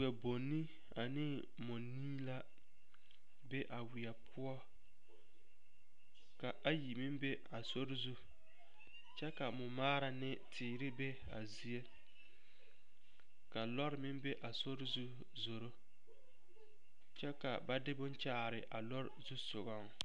Wɛbonni ane mɔnii la be a weɛ poɔ ka ayi meŋ be a sori zu kyɛ ka mɔmaara ne teere be a zie ka lɔre meŋ be a sori zu zoro kyɛ ka ba de bone kyaare a lɔre zusogɔŋ.